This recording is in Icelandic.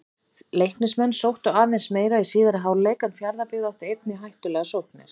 Leiknismenn sóttu aðeins meira í síðari hálfleik en Fjarðabyggð átti einnig hættulegar sóknir.